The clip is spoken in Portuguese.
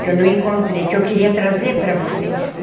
Que eu não encontrei, que eu queria trazer para você.